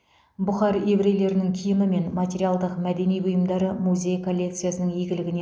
бұхар еврейлерінің киімі мен материалдық мәдени бұйымдары музей коллекциясының игілігіне